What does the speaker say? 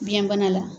Biyɛnbana la